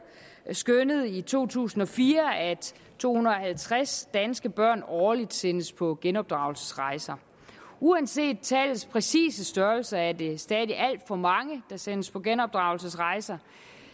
skønnede i to tusind og fire at to hundrede og halvtreds danske børn årligt sendes på genopdragelsesrejser uanset tallets præcise størrelse er det stadig alt for mange der sendes på genopdragelsesrejser